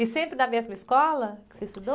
E sempre na mesma escola que você estudou?